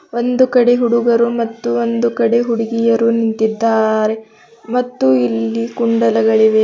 ಒಂದು ಕಡೆ ಹುಡುಗರು ಮತ್ತು ಒಂದು ಕಡೆ ಹುಡುಗಿಯರು ನಿಂತಿದ್ದಾರೆ ಮತ್ತು ಇಲ್ಲಿ ಕುಂಡಲಗಳಿವೆ.